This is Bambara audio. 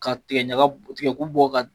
Ka tigɛ ɲaga tigɛ ku bɔ ka